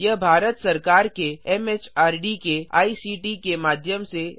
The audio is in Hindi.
यह भारत सरकार के एमएचआरडी के आईसीटी के माध्यम से राष्ट्रीय साक्षरता मिशन द्वारा समर्थित है